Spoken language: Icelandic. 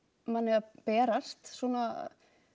manni að berast svona